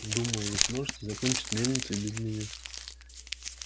думаю вы сможете закончить мельницу и без меня